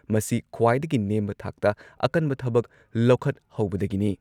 ꯃꯁꯤ ꯈ꯭ꯋꯥꯏꯗꯒꯤ ꯅꯦꯝꯕ ꯊꯥꯛꯇ ꯑꯀꯟꯕ ꯊꯕꯛ ꯂꯧꯈꯠꯍꯧꯕꯗꯒꯤꯅꯤ ꯫